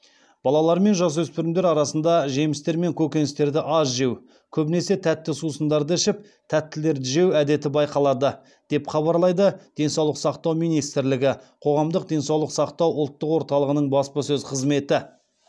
балалар мен жасөспірімдер арасында жемістер мен көкөністерді аз жеу көбінесе тәтті сусындарды ішіп тәттілерді жеу әдеті байқалады деп хабарлайды денсаулық сақтау министрлігі қоғамдық денсаулық сақтау ұлттық орталығының баспасөз қызметі